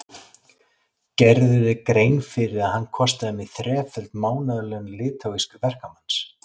Gerirðu þér grein fyrir að hann kostaði mig þreföld mánaðarlaun litháísks verkamanns?